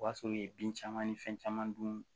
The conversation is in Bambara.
O b'a sɔrɔ u ye bin caman ni fɛn caman dun